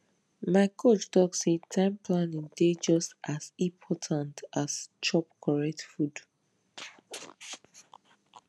my coach talk say time planning dey just as important as chop correct food